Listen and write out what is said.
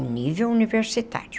O nível universitário.